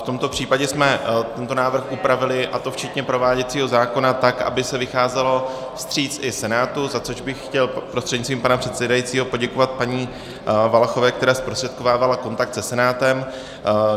V tomto případě jsme tento návrh upravili, a to včetně prováděcího zákona, tak, aby se vycházelo vstříc i Senátu, za což bych chtěl prostřednictvím pana předsedajícího poděkovat paní Valachové, která zprostředkovávala kontakt se Senátem.